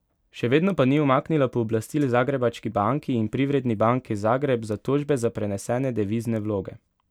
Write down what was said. Še vedno pa ni umaknila pooblastil Zagrebački banki in Privredni banki Zagreb za tožbe za prenesene devizne vloge.